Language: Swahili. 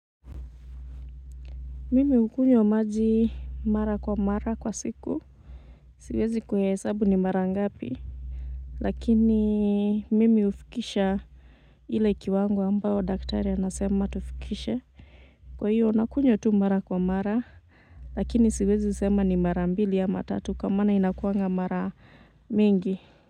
Mimi hukunywa maji mara kwa mara kwa siku. Siwezi kuwa hesabu ni mara ngapi. Lakini mimi hufikisha ile kiwango ambayo daktari anasema tufikishe. Kwa hiyo nakunywa tu mara kwa mara. Lakini siwezi sema ni mara mbili ama tatu kama inakuanga mara mingi.